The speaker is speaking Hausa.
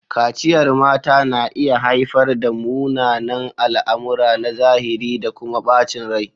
Kaciyar mata na iya haifar da munanan al'amura na zahiri da kuma bacin rai.